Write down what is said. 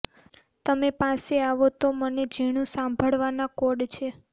તમે પાસે આવો તો મને ઝીણું સાંભળવાના કોડ છે